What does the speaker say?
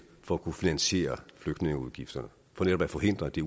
for at kunne finansiere flygtningeudgifterne for netop at forhindre at det